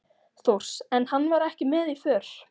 Þórs, en hann var ekki með í för.